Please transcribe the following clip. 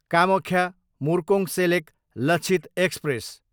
Kamakhya, Murkongselek Lachit express